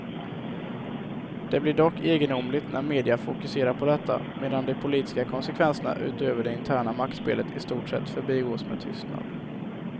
Det blir dock egendomligt när media fokuserar på detta, medan de politiska konsekvenserna utöver det interna maktspelet i stort sett förbigås med tystnad.